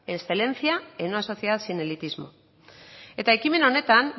excelencia en una sociedad sin elitismo eta ekimen honetan